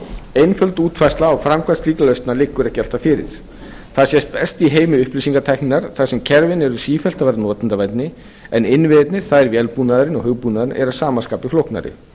einföld útfærsla á framkvæmd slíkra lausna liggur ekki alltaf fyrir það sést best í heimi upplýsingatækninnar þar sem kerfin eru sífellt að verða notendavænni en innviðirnir það er vélbúnaðurinn og hugbúnaðurinn eru að sama skapi flóknari